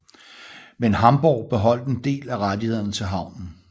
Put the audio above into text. Mem Hamborg beholdt en del af rettighederne til havnen